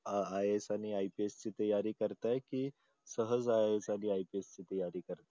अह आहेत आणि IPS ची तयारी करत आहेत की सहज आहे एखादी IPS ची तयारी करतात